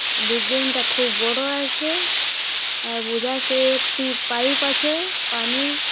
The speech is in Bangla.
বিল্ডিং -টা খুব বড় আছে আর বোঝায় সে একটি পাইপ আছে পানির।